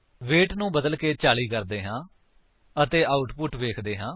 wait ਨੂੰ ਬਦਲਕੇ 40 ਕਰਦੇ ਹਾਂ ਅਤੇ ਆਉਟਪੁਟ ਵੇਖਦੇ ਹਾਂ